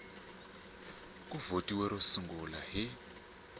ku vothiwe ro sungula hi